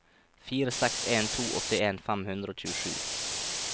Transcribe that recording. fire seks en to åttien fem hundre og tjuesju